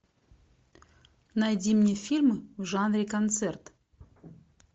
найди мне фильмы в жанре концерт